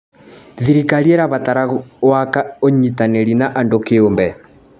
Thirikari ĩrabatara waka ũnyitanĩri na andũ kĩũmbe.